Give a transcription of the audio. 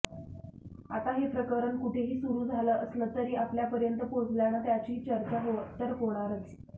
आता हे प्रकरण कुठेही सुरू झालं असलं तरी आपल्यापर्यंत पोहोचल्यानं त्याची चर्चा तर होणारच